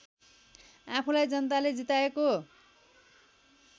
आफूलाई जनताले जिताएको